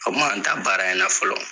A kun m'an ta baara in na fɔlɔ.